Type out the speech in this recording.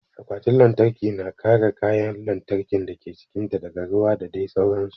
Akwatin lantarki na kare kayan lantarkin dake cikin ta daga ruwa da dai sauran su